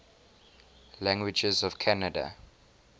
languages of canada